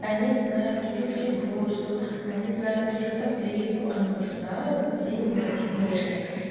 они знают ту же флибусту они знают ту же топливу они уже знают где им найти книжки